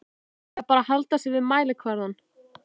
Eða bara halda sig við mælikvarðana?